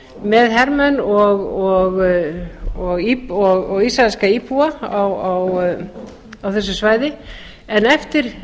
með hermenn og ísraelska íbúa á þessu svæði en eftir